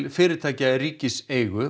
fyrirtækja í ríkiseigu